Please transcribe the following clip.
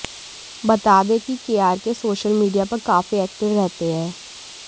बता दें कि केआरके सोशल मीडिया पर काफी एक्टिव रहते हैं